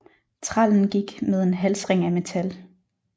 Trællen gik med en halsring af metal